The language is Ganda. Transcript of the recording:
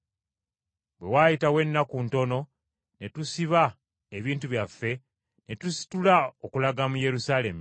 Bwe waayitawo ennaku ntono ne tusiba ebintu byaffe, ne tusitula okulaga mu Yerusaalemi.